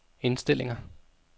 indstillinger